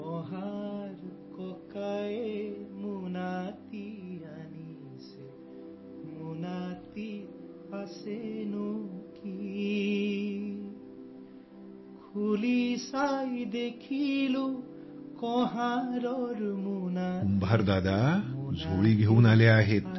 कुंभार दादा झोळी घेऊन आले आहेत